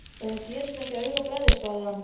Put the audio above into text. Þetta gerist ekki á augabragði sagði hann.